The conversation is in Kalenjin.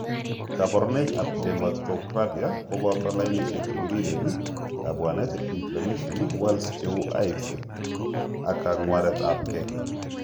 Kaborunoik ab dermatographia koboto lainisiek chebiriren, kabwanet, inflammation, welts cheu hives aka kang'waret ab ge